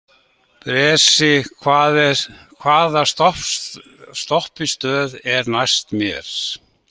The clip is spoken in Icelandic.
Bresi, hvaða stoppistöð er næst mér?